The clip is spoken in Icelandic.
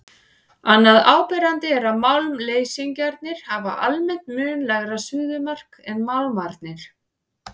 Annað áberandi er að málmleysingjarnir hafa almennt mun lægra suðumark en málmarnir.